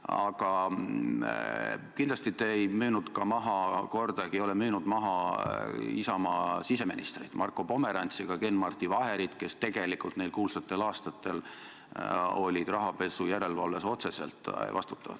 Aga kindlasti te ei müünud ka maha, kordagi te ei ole müünud maha Isamaa siseministrit Marko Pomerantsi ega Ken-Marti Vaherit, kes tegelikult neil kuulsatel aastatel olid rahapesu järelevalve eest otseselt vastutavad.